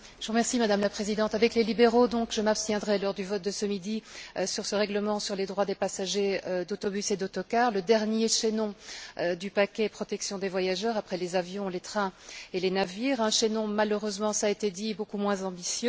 Madame la Présidente, avec les libéraux, je m'abstiendrai donc lors du vote de ce midi sur ce règlement sur les droits des passagers d'autobus et d'autocars, le dernier chaînon du paquet sur la protection des voyageurs après les avions, les trains et les navires, un chaînon malheureusement cela a été dit beaucoup moins ambitieux.